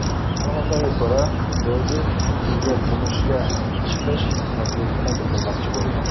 Ma’lumotlarga ko‘ra, Dodi unga turmushga chiqish taklifini bildirmoqchi bo‘lgan.